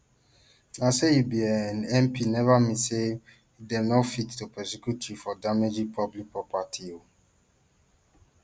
na say you be um mp neva mean say dem no fit to prosecute you for damaging public property um